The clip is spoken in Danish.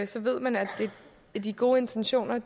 så ved man at at de gode intentioner